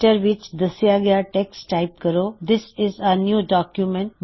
Writer ਵਿੱਚ ਦੱਸਿਆ ਗਇਆ ਟੈੱਕਸਟ ਟਾਇਪ ਕਰੋ This is a new document